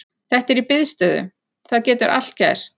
Þetta er í biðstöðu, það getur allt gerst.